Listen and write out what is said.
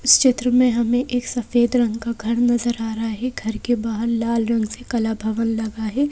इस चित्र हमें एक सफेद रंग घर नजर आ रहा है घर के बाहर लाल रंग से कला भवन लगा है।